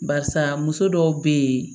Barisa muso dɔw be yen